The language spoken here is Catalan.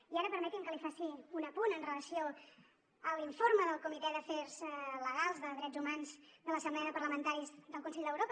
i ara permeti’m que li faci un apunt en relació amb l’informe del comitè d’afers legals de drets humans de l’assemblea de parlamentaris del consell d’europa